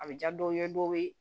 A bɛ ja dɔw ye dɔw ye